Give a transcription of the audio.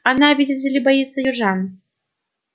она видите ли боится южан